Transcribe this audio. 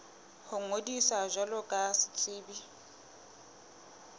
ho ngodisa jwalo ka setsebi